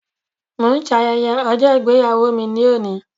Mo ń ṣe ayẹyẹ ọjọ́ ìgbéyàwó mi ní ẹnì